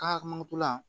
Ka hamitu la